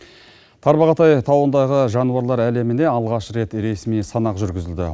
тарбағатай тауындағы жануарлар әлеміне алғаш рет ресми санақ жүргізілді